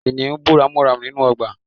Kìnìún bú ramúramù nínú ọgbà